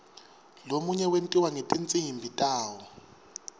lomunye wentiwa ngetinsimbi tawo